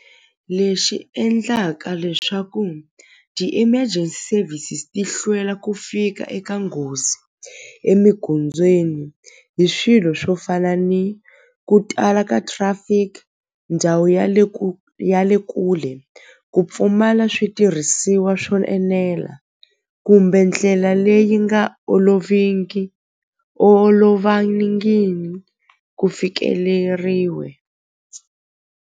Lexi endlaka leswaku ti-emergency services ti hlwela ku fika eka nghozi emigondzweni hi swilo swo fana ni ku tala ka trafic ndhawu ya le ya le kule ku pfumala switirhisiwa swo enela kumbe ndlela leyi nga oloviki ku fikeleriwe.